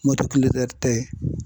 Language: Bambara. tɛ